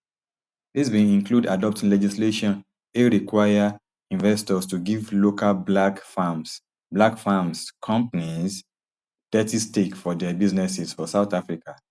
dis bin include adopting legislation ey require investors to give local black firms black firms [companies] thirty stake for dia businesses for south africa